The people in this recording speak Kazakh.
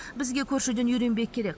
бізге көршіден үйренбек керек